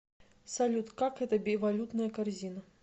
салют как это бивалютная корзина